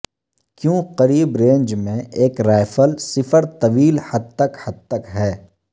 کیوں قریب رینج میں ایک رائفل صفر طویل حد تک حد تک ہے